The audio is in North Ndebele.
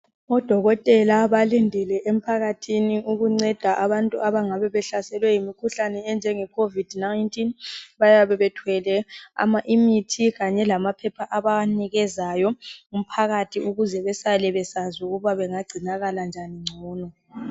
Odokotela balindile emphakathini ukunceda abantu abangabe behlaselwe yimikhuhlane enjenge khovidi nayintini. Bayabe bethwele imithi kanye lamaphepha ababanikezayo umphakathi ukuze besale besazi ukuba ungangcinakala njani ngcono.